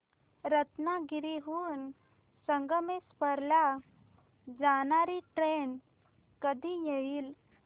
रत्नागिरी हून संगमेश्वर ला जाणारी ट्रेन कधी येईल